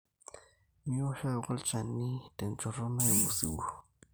Miosh ake olchani tenchotto naimu osiwuo.